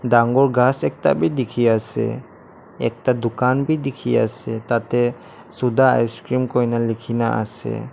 dangor ghass ekta bi dikhi ase ekta dukan bi dikhi ase tah teh suda icecream koina likhi na ase.